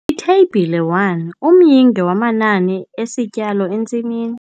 Itheyibhile 1- Umyinge wamanani esityalo entsimini.